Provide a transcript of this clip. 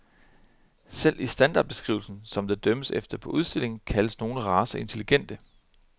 Selv i standardbeskrivelsen, som der dømmes efter på udstillinger, kaldes nogle racer intelligente.